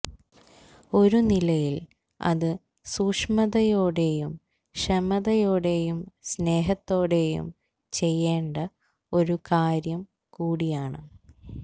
ഒരു നിലയില് അത് സൂക്ഷ്മതയോടെയും ക്ഷമയോടെയും സ്നേഹത്തോടെയും ചെയ്യേണ്ട ഒരു കാര്യം കൂടിയാണ്